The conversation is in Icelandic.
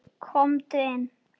Komdu inn